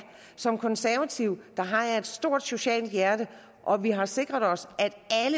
som konservativ har jeg et stort socialt hjerte og vi har sikret os